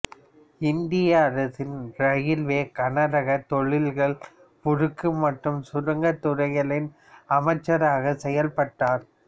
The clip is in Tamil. இந்திய அரசின் இரயில்வே கனரகத் தொழில்கள் உருக்கு மற்றும் சுரங்கத் துறைகளின் அமைச்சராக செயல்பட்டவர்